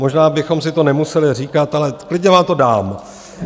Možná bychom si to nemuseli říkat, ale klidně vám to dám.